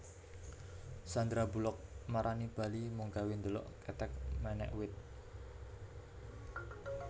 Sandra Bullock marani Bali mung gawe ndelok kethek menek wit